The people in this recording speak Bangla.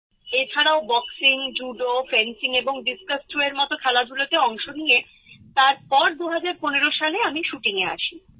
এছাড়াও বক্সিং জুডো ফেন্সিং এবং ডিস্কাস থ্রোএর মত খেলাধুলোতে অংশ নিয়ে তারপর ২০১৫ সালে আমি শুটিংয়ে আসি